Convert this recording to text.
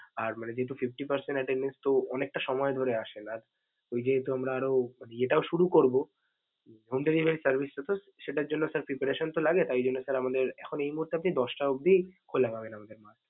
আর মানে যেহেতু fifty percent attendence তো অনেকটা সময় ধরে আসছে আর যেহেতু আমরা আরও ইয়েটাও শুরু করব home deliverry service টা sir সেটার জন্য sir preparation তো লাগে তাই জন্যে sir আমাদের এখন এই মুহূর্তে আপনি দশটা অব্দি খোলা পাবেন আমাদের।